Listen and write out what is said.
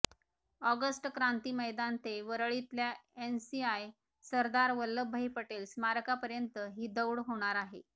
August Kranti Maidan ते वरळीतल्या NCI Sardar Vallabhbhai Patel स्मारकापर्यंत ही दौड होणार आहे